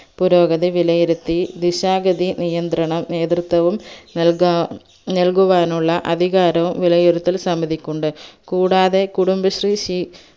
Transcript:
പുരോഗതി വിലയിരുത്തി ദിശാഗതി നിയന്ത്രണം നേത്രത്വവും നൽക നൽകുവാനുള്ള അധികാരം വിലയിരുത്തൽ സമിതിക്കുണ്ട് കൂടാതെ കുടുംബശ്രീ ശീ